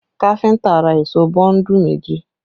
Kafinta ra èṣó bọ́ńdù méjì